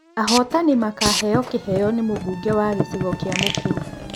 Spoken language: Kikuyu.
Ahotani makaheo kĩheo nĩ mũbunge wa gĩcigo kĩa Mũkuru.